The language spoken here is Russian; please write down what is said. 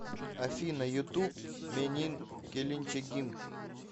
афина ютуб менин келинчегим